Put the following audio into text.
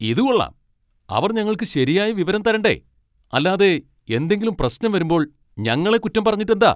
ഇതുകൊള്ളാം. അവർ ഞങ്ങൾക്ക് ശരിയായ വിവരം തരണ്ടേ, അല്ലാതെ എന്തെങ്കിലും പ്രശ്നം വരുമ്പോൾ ഞങ്ങളെ കുറ്റം പറഞ്ഞിട്ടെന്താ?